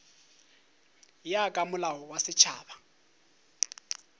ya ka molao wa setšhaba